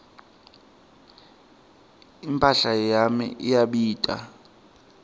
imphahla yami iyabita